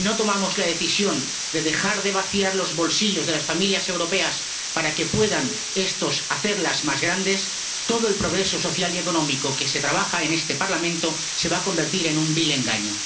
si no tomamos la decisión de dejar de vaciar los bolsillos de las familias europeas para que puedan estos hacerlas más grandes, todo el progreso social y económico que se trabaja en este Parlamento se va a convertir en un vil engaño.